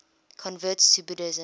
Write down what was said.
converts to buddhism